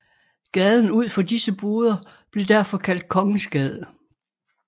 Gaden ud for disse boder blev derfor kaldt Kongensgade